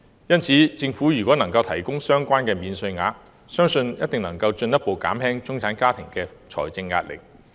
因此，如政府能提供相關免稅額，相信一定能夠進一步減輕中產家庭的財政壓力。